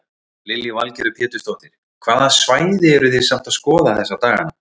Lillý Valgerður Pétursdóttir: Hvaða svæði eru þið samt að skoða þessa daganna?